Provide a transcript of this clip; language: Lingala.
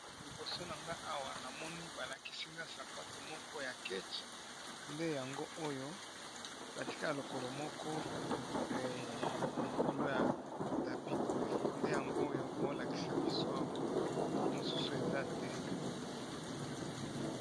Liboso na nga awa nazomona balakisinga sapato moko ya keche. Yango oyo batie lokolo moko likolo ya tapi oyo nde yango oyo bolakisa biso awa mosusu eza te.